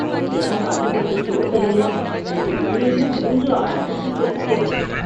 எவன் கண்ணு பட்டுச்சோ தெரியல.. நேத்து திடீர்னு மூன்று ஆட்டுக்குட்டி செத்துப் போச்சு